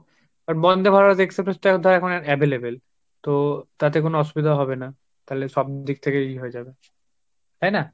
আর Bandebharat Express তাও তো এখন available তো তাতে কোন অসুবিধা হবে না তালে সব দিক থেকেই হয়ে যাবে তাইনা।